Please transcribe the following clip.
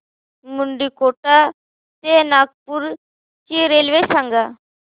मुंडीकोटा ते नागपूर ची रेल्वे सांगा